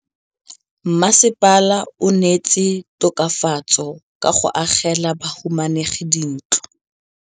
Mmasepala o neetse tokafatsô ka go agela bahumanegi dintlo.